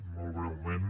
molt breument